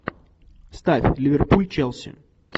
ставь ливерпуль челси